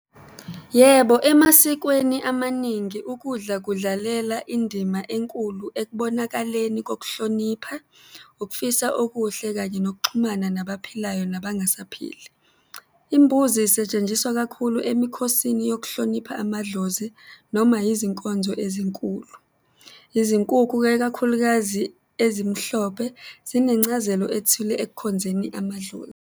Yebo, emasikweni amaningi ukudla kudlalela indima enkulu ekubonakaleni kokuhlonipha, ukufisa okuhle kanye nokuxhumana nabaphilayo nabangasaphili. Imbuzi isetshenjiswa kakhulu emikhosini yokuhlonipha amadlozi noma izinkonzo ezinkulu. Izinkukhu-ke, ikakhulukazi ezimhlophe, zinencazelo ethile ekukhonzeni .